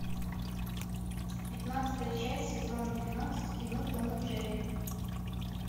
пятнадцатая часть сезон двенадцать кино том и джерри